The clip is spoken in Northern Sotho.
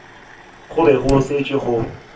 go be go šetše go